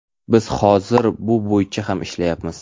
Biz hozir bu bo‘yicha ham ishlayapmiz.